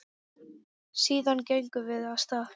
Síðan gengum við af stað.